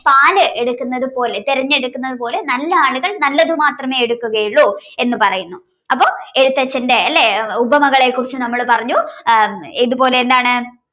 പാല് എടുക്കുന്നത് പോലെ തെരഞ്ഞെടുക്കുന്നത് പോലെ നല്ല ആളുകൾ നല്ലതുമാത്രമേ എടുക്കുകയുള്ളു എന്ന് പറയുന്നു അപ്പൊ എഴുത്തച്ഛന്റെ ലെ ഉപമകളെ കുറിച്ച് നമ്മൾ പറഞ്ഞു ആഹ് ഏതുപോലെ എന്താണ്